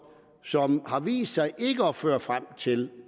som har vist sig ikke at føre frem til